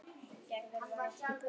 Ekki hún Heiða.